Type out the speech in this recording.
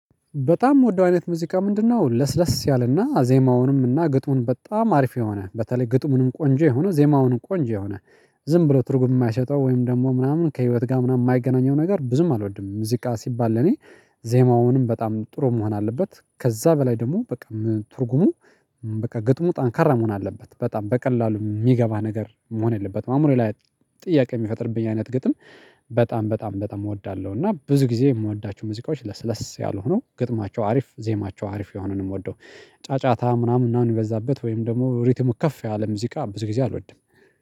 በጣም የምወደው አይነት ሙዚቃ ምንድነው? ለስለስ ያለና ዜማውንም እና ግጥሙን በጣም አሪፍ የሆነ በተለይ ግጥሙንም ቆንጆ የሆነ ዜማውንም ቆንጆ የሆነ ዝም ብሎ ትርጉም የማይሰጠው ወይም ደግሞ ምናምን ከህይወት ጋር ምናምን የማይገናኘው ነገር ብዙም አልወድም። ምዝቃ ሲባል ለኔ ዜማውንም በጣም ጥሩ መሆን አለበት ከዛ በላይ ደግሞ በቃ ትርጉሙ በቃ ግጥሙ ጣንካራ መሆን አለበት በጣም በቀላሉ የሚገባ ነገር መሆን የለበትም አሞር ላይ ጥያቄ የሚፈጥርብኝ አይነት ግጥም። በጣም በጣም በጣም እወዳለሁ። እና ብዙ ጊዜ የምወዳችሁ ሙዚቃዎች ለስለስ ያልሆነው ግጥማቸው አሪፍ ዜማቸው አሪፍ የሆኑንም ወደው ጫጫታ ምናምን እናንተ በዛበት ወይም ደግሞ ሪትሙ ከፍ ያለ ሙዚቃ ብዙ ጊዜ አልወድም